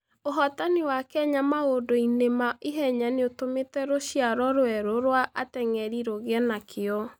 Ũhootani wa Kenya maũndũ-inĩ ma ihenya nĩ ũtũmĩte rũciaro rwerũ rwa ateng'eri rũgĩe na kĩyo.